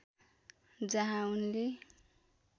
जहाँ उनले